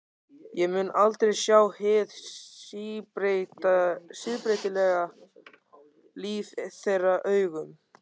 Ég mun aldrei sjá hið síbreytilega líf þeirra augum.